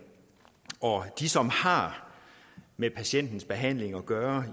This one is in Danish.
og de som har med patientens behandling at gøre